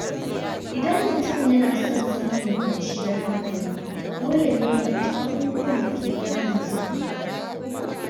Idan mutum yana son samun kwanciyar hankali, dole ne ya guji abubuwan da ke damunsa.